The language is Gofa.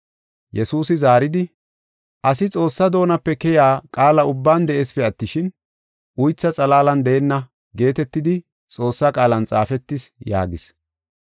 Yesuusi zaaridi, “ ‘Asi Xoossaa doonape keyiya qaala ubban de7eesipe attishin, uytha xalaalan deenna’ geetetidi Xoossaa qaalan xaafetis” yaagis.